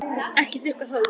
Ekki þurrka það út.